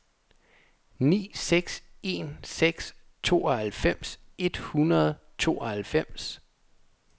ni seks en seks tooghalvfems et hundrede og tooghalvfems